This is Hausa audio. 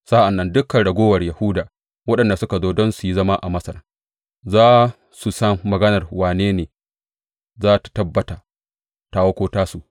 Sa’an nan dukan raguwar Yahuda waɗanda suka zo don su yi zama a Masar za su san maganar wane ne za tă tabbata, tawa ko tasu.